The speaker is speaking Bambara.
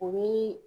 O bi